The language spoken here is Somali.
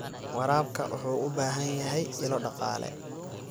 Waraabka wuxuu u baahan yahay ilo dhaqaale.